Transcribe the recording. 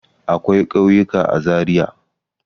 Akwai ƙauyuka a Zariya.